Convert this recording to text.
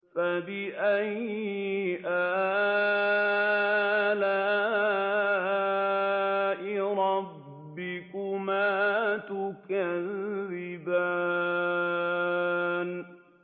فَبِأَيِّ آلَاءِ رَبِّكُمَا تُكَذِّبَانِ